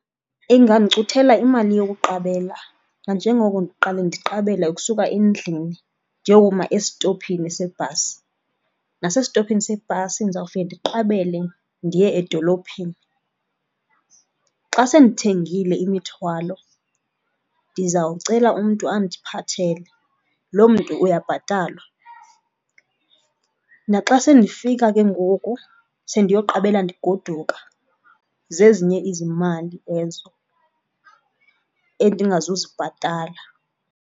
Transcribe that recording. Ingandicuthela imali yokuqabela nanjengoko ndiqale ndiqabele ukusuka endlini ndiyokuma esitophini sebhasi. Nasestophini sebhasi ndizawufika ndiqabele ndiye edolophini. Xa sendithengile imithwalo ndizawucela umntu andiphathele, loo mntu uyabhatalwa. Naxa sendifika ke ngoku sendiyoqabela ndigoduka zezinye izimali ezo endingazuzibhatala.